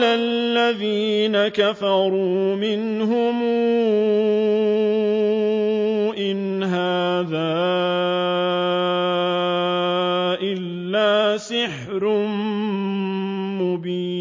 الَّذِينَ كَفَرُوا مِنْهُمْ إِنْ هَٰذَا إِلَّا سِحْرٌ مُّبِينٌ